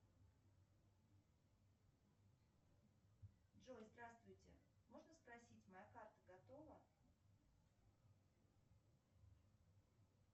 джой здравствуйте можно спросить моя карта готова